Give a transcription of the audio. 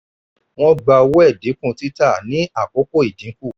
wọ́n gba owó ẹ̀dínkù títà ní àkókò ìdínkù.